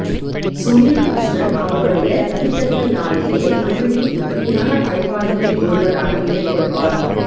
சுனீல் கிருஷ்ணன் அவருடைய தனித்தன்மையாலேயே தமிழின் முதன்மையான படைப்பாளிகளில் ஒருவராக நிலைகொள்வார்